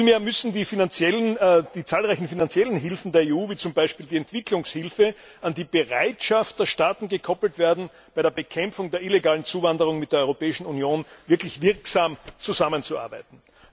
Vielmehr müssen die zahlreichen finanziellen Hilfen der EU wie zum Beispiel die Entwicklungshilfe an die Bereitschaft der Staaten gekoppelt werden, bei der Bekämpfung der illegalen Zuwanderung mit der Europäischen Union wirklich wirksam zusammenzuarbeiten.